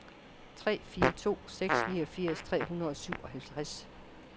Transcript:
tre fire to seks niogfirs tre hundrede og syvoghalvtreds